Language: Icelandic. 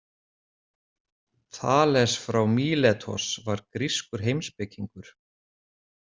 Þales frá Míletos var grískur heimspekingur.